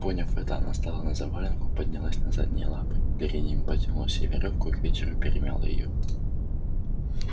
поняв это она стала на завалинку поднялась на задние лапы передними подтянула себе верёвку и к вечеру перемяла её